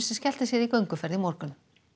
skellti sér í gönguferð í morgun